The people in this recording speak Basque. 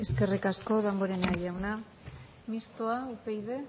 amaitzen joan eskerrik asko damborenea jauna mistoa upyd